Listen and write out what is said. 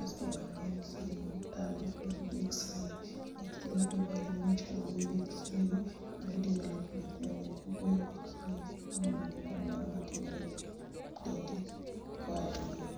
Asto mano en simu, tab manigi x-ray[,x-ray be ber niwach kogoyi x-ray to mano development manyien ,ka ogoyi x-ray ineno gimoro amora ma timore e dendi koa, eee..